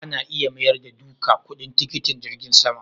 Ana iya mayar da duka kudin tikitin jirgin sama?